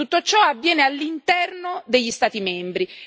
Tutto ciò avviene all'interno degli Stati membri.